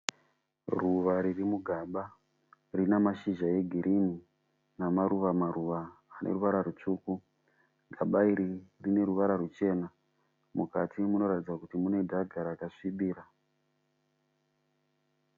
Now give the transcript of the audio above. Ruva riri mugaba. Rinamashizha egirinhi namaruva ruva ane ruvara rwutsvuku. Gaba iri rine ruvara rwuchena. Mukati munoratidza kuti mune dhaga raka svibira.